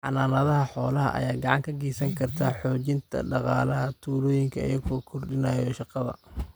Xanaanada xoolaha ayaa gacan ka geysan karta xoojinta dhaqaalaha tuulooyinka iyadoo kordhinaysa shaqada.